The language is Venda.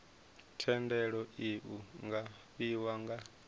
thendelo iu nga fhiwa nga